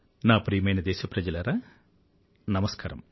నా ప్రియమైన దేశప్రజలారా నమస్కారం